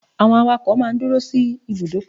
Drivers stay at the bus stop